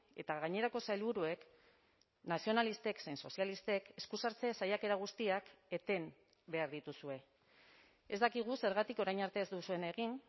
eta gainerako sailburuek nazionalistek zein sozialistek esku sartze saiakera guztiak eten behar dituzue ez dakigu zergatik orain arte ez duzuen egin